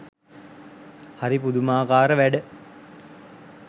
හරි පුදුමාකාර වැඩ.